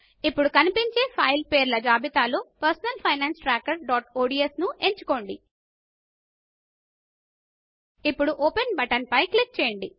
ఇప్పుడు కనిపించే ఫైలు పేర్ల జాబితాలో personal finance tracker dot ODS ను ఎంచుకోండి ఇప్పుడు ఓపెన్ బటన్ పై క్లిక్ చేయండి